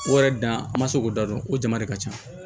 O yɛrɛ dan an ma se k'o da dɔn o jama de ka ca